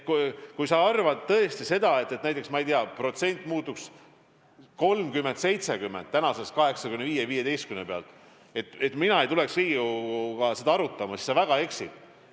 Kui sa arvad tõesti seda, et kui, ma ei tea, suhe muutuks ja oleks 30 : 70 senise 85 : 15 asemel, siis mina ei tuleks Riigikoguga seda arutama, siis sa väga eksid.